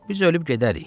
Biz ölüb gedərik.